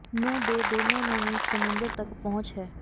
ਨੂੰ ਦੇ ਦੋਨੋ ਨੂੰ ਵੀ ਸਮੁੰਦਰ ਤੱਕ ਪਹੁੰਚ ਹੈ